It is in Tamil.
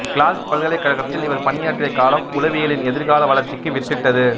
கிளாா்க் பல்கலைக் கழகத்தில் இவா் பணியாற்றிய காலம் உளவியலின் எதிா்கால வளா்ச்சிக்கு வித்திட்டது